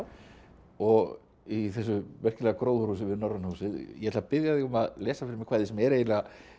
og í þessu merkilega gróðurhúsi við Norræna húsið ég ætla að biðja þig um að lesa fyrir mig kvæði sem er eiginlega